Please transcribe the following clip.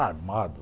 Armado.